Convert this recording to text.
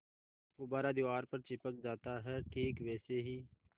गुब्बारा दीवार पर चिपक जाता है ठीक वैसे ही